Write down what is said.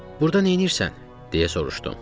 "Burdan neynirsən?" deyə soruşdum.